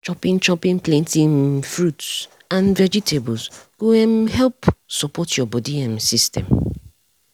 chopping chopping plenty um fruit and vegetables go um help support your body um system.